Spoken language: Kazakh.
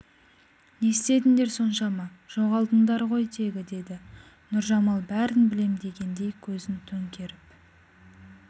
не істедіңдер соншама жоғалдыңдар ғой тегі деді нұржамал бәрін білем дегендей көзін төңкеріп